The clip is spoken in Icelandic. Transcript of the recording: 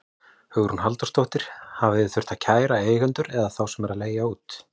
Hugrún Halldórsdóttir: Hafið þið þurft að kæra eigendur eða þá sem eru að leigja út?